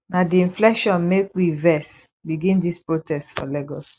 na di inflation make we vex begin dis protest for lagos